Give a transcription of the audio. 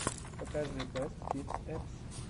покажи бэст кидс эппс